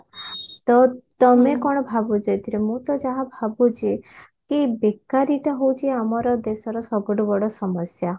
ତ ତମେ କଣ ଭାବୁଛ ଏଥିରେ ମୁଁ ତ ଯାହା ଭାବୁଛି କି ବେକାରୀ ଟା ହଉଛି ଆମର ଦେଶର ସବୁଠୁ ବଡ ସମସ୍ୟା